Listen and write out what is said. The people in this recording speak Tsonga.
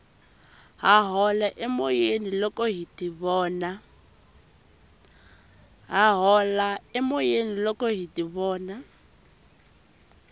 ha hola emoyeni loko hi tivona